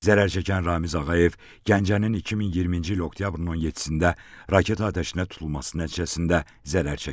Zərər çəkən Ramiz Ağayev Gəncənin 2020-ci il oktyabrın 17-də raket atəşinə tutulması nəticəsində zərər çəkib.